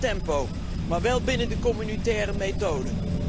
Meer tempo, maar wel binnen de communautaire methode.